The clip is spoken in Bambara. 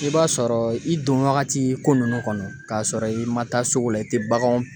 I b'a sɔrɔ i don wagati ko nunnu kɔnɔ k'a sɔrɔ i ma taa sugu la i te baganw